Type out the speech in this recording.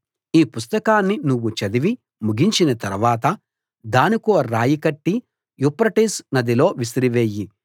ఈ పుస్తకాన్ని నువ్వు చదివి ముగించిన తర్వాత దానికో రాయి కట్టి యూఫ్రటీసు నదిలో విసిరివెయ్యి